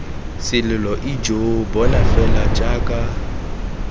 selelo ijo bona fela jaaka